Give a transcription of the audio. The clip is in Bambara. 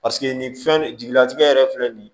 Paseke nin fɛn jigilatigɛ yɛrɛ filɛ nin ye